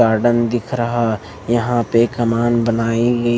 garden दिख रहा यहाँ पे कमान बनाई गई --